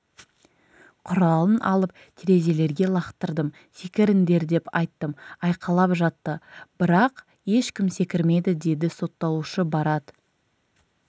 құралын алып терезелерге лақтырдым секіріңдер деп айттым айқайлап жатты бірақ ешкім секірмеді деді сотталушы барат